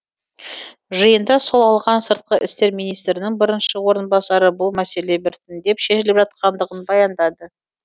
жиында сол алған сыртқы істер министрінің бірінші орынбасары бұл мәселе біртіндеп шешіліп жатқандығын баяндады